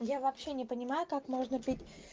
я вообще не понимаю как можно пить